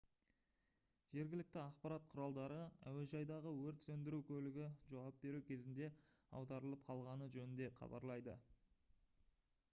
жергілікті ақпарат құралдары әуежайдағы өрт сөндіру көлігі жауап беру кезінде аударылып қалғаны жөнінде хабарлайды